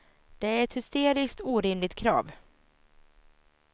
Det är ett hysteriskt orimligt krav.